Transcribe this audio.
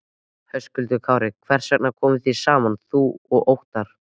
Höskuldur Kári: Hvers vegna komuð þið saman þú og Óttarr?